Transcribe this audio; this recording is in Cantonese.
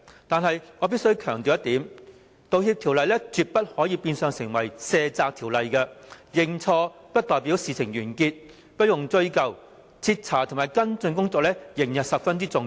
但是，我必須強調一點，《道歉條例草案》絕不可變相成為一項卸責的條例，認錯不代表事情完結、不用追究，徹查及跟進工作仍然十分重要。